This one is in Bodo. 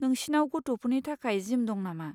नोंसिनाव गथ'फोरनि थाखाय जिम दं नामा?